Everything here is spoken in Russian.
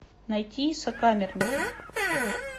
найти сокамерники